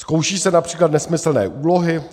Zkouší se například nesmyslné úlohy.